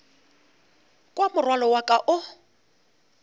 kwa morwalo wa ka o